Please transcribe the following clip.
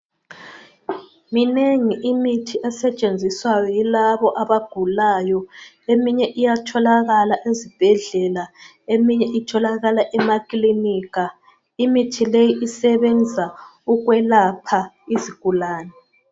Minengi imithi esetshenziswa yilabo abagulayo eminye iyatholakala ezibhedlela eminye itholakala emakilinika imithi le isebenza ukwelapha izigulani.